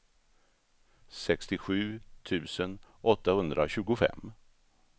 sextiosju tusen åttahundratjugofem